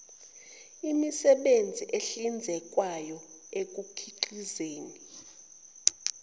emisebenzini ehlinzekwayo ekukhiqizeni